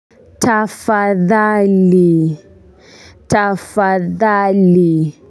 Tafadhali tafadhali.